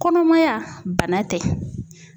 Kɔnɔmaya, bana tɛ.